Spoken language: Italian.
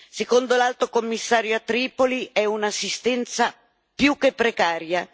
Secondo l'Alto commissario a Tripoli è un'assistenza più che precaria.